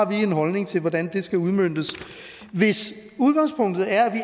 vi har en holdning til hvordan det skal udmøntes hvis udgangspunktet er at